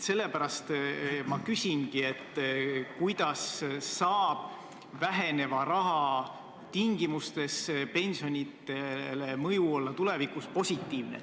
Sellepärast ma küsingi, kuidas saab väheneva raha tingimustes mõju pensionidele olla positiivne.